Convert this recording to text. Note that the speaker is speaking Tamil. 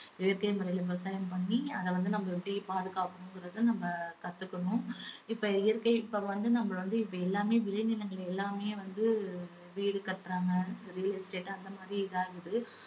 இயற்கை முறையில விவசாயம் பண்ணி அத வந்து நம்ம எப்படி பாதுகாக்கணுங்கிறதை நம்ம கத்துக்கணும். இப்ப இயற்கை இப்ப வந்து நம்ம வந்து விளை நிலங்கள் எல்லாமே வந்து வீடு கட்டுறாங்க real estate அந்த மாதிரி இதாகுது.